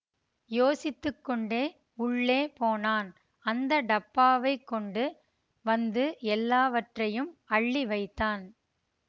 யோசித்து கொண்டே உள்ளே போனான் அந்த டப்பாவைக் கொண்டு வந்து எல்லாவற்றையும் அள்ளி வைத்தான்